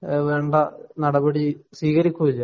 വേണ്ട നടപടി സ്വീകരിക്കുകയില്ല